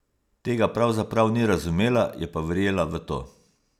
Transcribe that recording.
Tega pravzaprav ni razumela, je pa verjela v to.